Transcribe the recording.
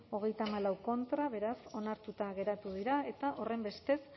treinta y cuatro contra beraz onartuta geratu dira eta horrenbestez